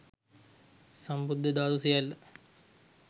සම්බුද්ධ ධාතු සියල්ල